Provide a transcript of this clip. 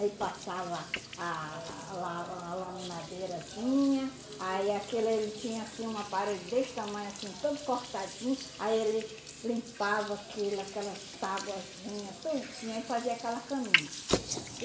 Aí passava a la la laminadeirazinha, aí aquilo ele tinha um aparelho desse tamanho, assim todo cortadinho, aí ele limpava aquele aquelas tabuazinha tudinho aí fazia aquela caminha.